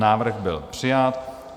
Návrh byl přijat.